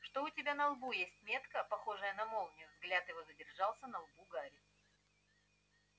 что у тебя на лбу есть метка похожая на молнию взгляд его задержался на лбу гарри